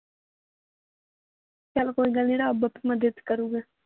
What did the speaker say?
ਚਲ ਕੋਈ ਗੱਲ ਨਹੀ ਰੱਬ ਆਪੇ ਮਦਦ ਕਰੂਗਾ।